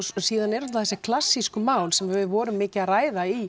síðan eru þessi klassísku mál sem við vorum mikið að ræða í